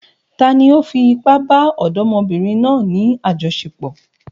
Tani ó fi ipá bá ọ̀dọ́mọbìnrin náà ní àjọṣepọ̀?